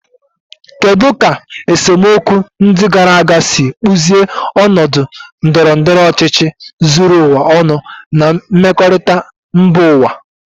Kedu ka esemokwu ndị gara aga siri kpụzie ọnọdụ ndọrọ ndọrọ ọchịchị zuru ụwa ọnụ na mmekọrịta mba ụwa?